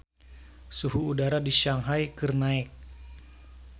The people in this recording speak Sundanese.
Suhu udara di Shanghai keur naek